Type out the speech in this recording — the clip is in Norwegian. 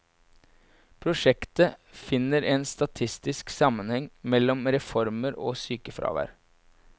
Prosjektet finner en statistisk sammenheng mellom reformer og sykefravær.